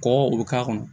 Kɔkɔ u be k'a kɔnɔ